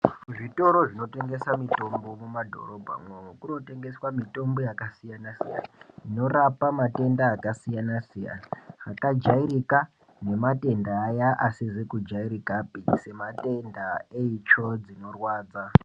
Zvitoro zvino tengesa mitombo mu madhorobha mwomwo kuno tengeswa mitombo yaka siyana siyana ino rapa matenda aka siyana siyana aka jairika ne matenda aya asizi ku jairikapi se matenda eitsvo dzino rwadza.